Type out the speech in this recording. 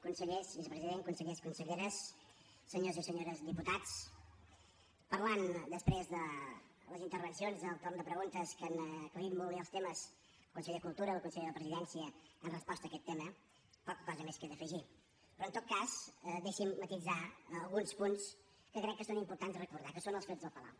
consellers vicepresident consellers conselleres senyors i senyores diputats parlant després de les intervencions del torn de preguntes que han aclarit molt bé els temes el conseller de cultura la consellera de la presidència en resposta a aquest tema poca cosa més queda a afegir però en tot cas deixi’m matisar alguns punts que crec que són importants recordar que són els fets del palau